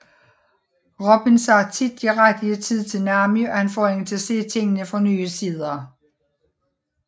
Robin siger tit de rigtige ting til Nami og kan få hende til at se tingene fra nye sider